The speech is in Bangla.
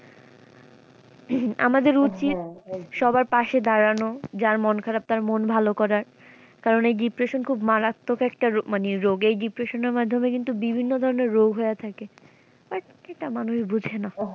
আমাদের উচিৎ সবার পাশে দাঁড়ানো যার মন খারাপ তার মন ভালো করার কারন এই depression খুব মারাত্মক একটা মানে রোগ এই depression এর মাধ্যমে কিন্তু বিভিন্ন ধরনের রোগ হইয়া থাকে but এইটা মানুষ বুঝে না।